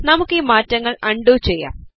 നമുക്ക് ഈ മാറ്റങ്ങൾ അൺഡു ചെയ്യാം